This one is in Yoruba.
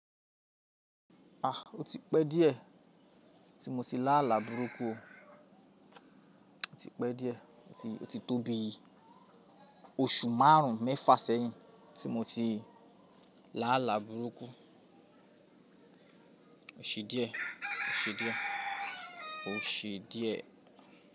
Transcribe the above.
A! O ti pẹ́ díẹ̀ tí mo ti lá àlá burúkú o. Ó ti pẹ́ díẹ̀, ó ti tóbí oṣù márùn-ún, mẹ́fà sẹ́hìn tí mo ti lá àlá burúkú. O ṣe díẹ̀, o ṣe díẹ̀, o ṣe díẹ̀.